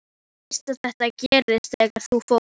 Þú veist að þetta gerðist þegar þú fórst.